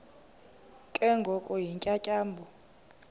ke ngoko iintyatyambo